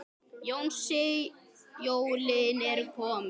Jónsi, jólin eru komin.